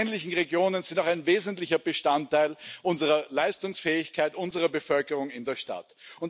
Die ländlichen Regionen sind auch ein wesentlicher Bestandteil der Leistungsfähigkeit unserer Bevölkerung in der Stadt.